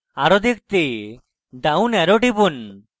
arrow দেখতে down arrow টিপুন